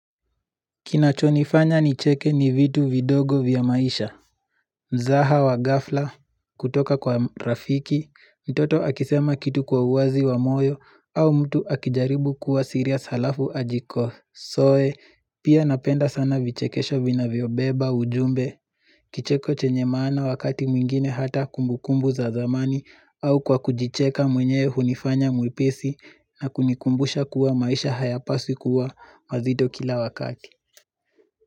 Kinachonifanya nicheke ni vitu vidogo vya maisha. Mzaha wa ghafla, kutoka kwa rafiki, mtoto akisema kitu kwa uwazi wa moyo, au mtu akijaribu kuwa serious alafu ajikoSoe, pia napenda sana vichekesho vina vyobeba ujumbe, kicheko chenye maana wakati mwingine hata kumbukumbu za zamani, au kwa kujicheka mwenyewe hunifanya mwepisi na kunikumbusha kuwa maisha hayapaswi kuwa mazito kila wakati.